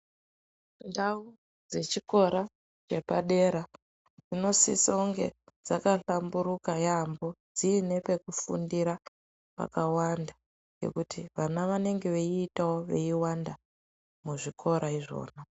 Ndau dzechikora chepadera dzinosisonge dzakahlamburuka yaamho dziine pekufundira pakawanda ngekuti vana venenge veiitawo veiwanda muzvikora izvona.